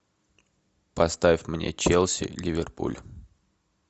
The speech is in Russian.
поставь мне челси ливерпуль